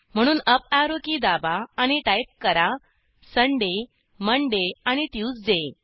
म्हणून up arrow key दाबा आणि टाईप करा सुंदय मोंडे आणि ट्यूसडे